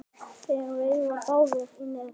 Þeir veiða báðir í net.